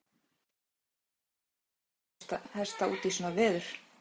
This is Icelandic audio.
Hvar myndu menn setja veðhlaupahesta út í svona veður?